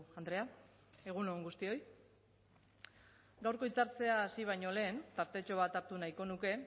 andrea egun on guztioi gaurko hitzartzea hasi baino lehen tartetxo bat hartu nahiko nuke